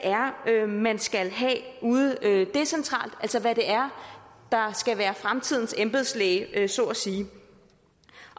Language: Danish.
er man skal have ude decentralt altså hvad det er der skal være fremtidens embedslæge så at sige